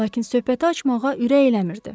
Lakin söhbəti açmağa ürək eləmirdi.